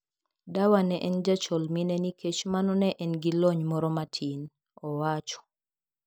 "Dawa ne en jachol mine nikech mano ne an gi lony moro matin," owacho.